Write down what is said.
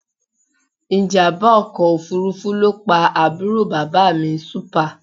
Ìjàmbá ọkọ̀ òfuurufú ló pa àbúrò bàbá mi Súpà